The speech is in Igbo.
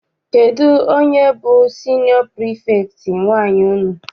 Kedụ onye bụ siniọ pirifektị nwaanyị unu?